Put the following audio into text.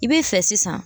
I b'i fɛ sisan